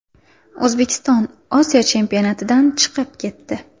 O‘zbekiston Osiyo chempionatidan chiqib ketdi.